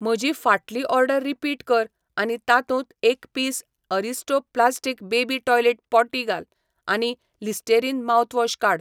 म्हजी फाटली order repeat कर आनी तातूंत एक piece Aristo plastic baby toilet potty घाल आनी लिस्टेरीन माउथवॉश काड.